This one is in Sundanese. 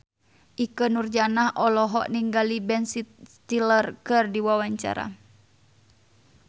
Ikke Nurjanah olohok ningali Ben Stiller keur diwawancara